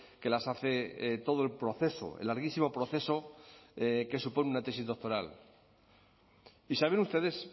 que las hace todo el proceso el larguísimo proceso que supone una tesis doctoral y saben ustedes